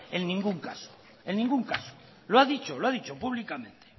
en ningún caso lo ha dicho públicamente